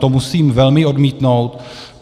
To musím velmi odmítnout.